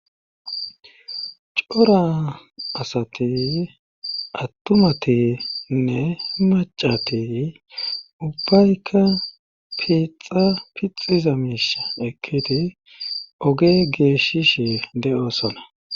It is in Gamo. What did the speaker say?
cora asatiy attumatinne macatey ubbaykka piixa pixiza miisha ekketi oge geeshishe de7osona